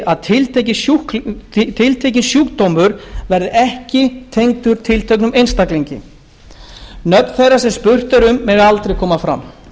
að tiltekinn sjúkdómur verði ekki tengdur tilteknum einstaklingi nöfn þeirra sem spurt er um mega aldrei koma fram